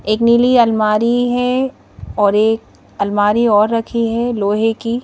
एक निली अलमारी है और एक अलमारी और रखी है लोहे की--